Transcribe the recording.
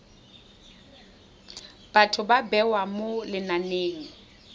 batho ba bewa mo lenaneng